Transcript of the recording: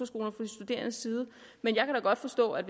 studerendes side men jeg kan da godt forstå at